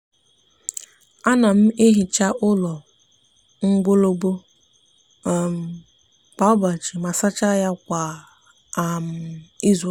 a no m ehicha ulo nwologbo um kwa ubochi ma sacha ya kwa um izuuka.